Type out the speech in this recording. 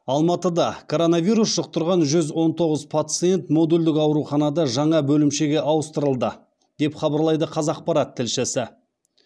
алматыда коронавирус жұқтырған жүз он тоғыз пациент модульдік ауруханада жаңа бөлімшеге ауыстырылды деп хабарлайды қазақпарат тілшісі